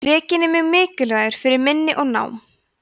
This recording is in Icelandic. drekinn er mjög mikilvægur fyrir minni og nám